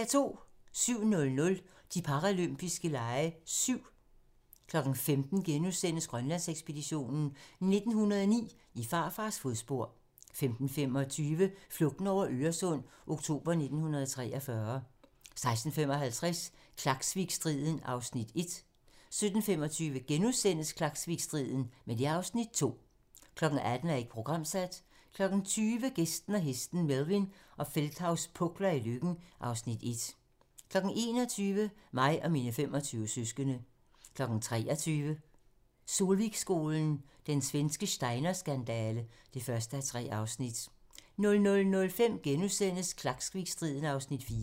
07:00: De paralympiske lege - 7 15:00: Grønlandsekspeditionen 1909: I farfars fodspor * 15:25: Flugten over Øresund - oktober 1943 16:55: Klaksvikstriden (Afs. 1) 17:25: Klaksvikstriden (Afs. 2)* 18:00: Ikke programsat 20:00: Gæsten og hesten - Melvin og Feldthaus pukler i Løkken (Afs. 1) 21:00: Mig og mine 25 søskende 23:00: Solvikskolen - Den svenske Steiner-skandale (1:3) 00:05: Klaksvikstriden (Afs. 4)*